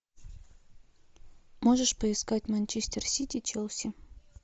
можешь поискать манчестер сити челси